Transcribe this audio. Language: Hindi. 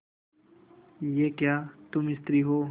यह क्या तुम स्त्री हो